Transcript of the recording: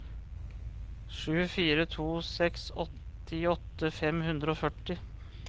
sju fire to seks åttiåtte fem hundre og førti